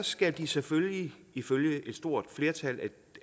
skal de selvfølgelig ifølge et stort flertal